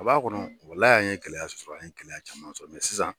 A b'a kɔnɔ, walaye an ye kɛlɛya sɔrɔ a ye kɛlɛya caman sɔrɔ sisan.